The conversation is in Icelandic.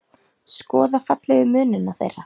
Skoða fallegu munina þeirra.